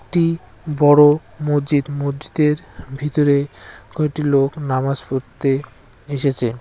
বড় মজ্জিদ মজ্জিদের ভিতরে কয়টি লোক নামাজ পড়তে এসেছে।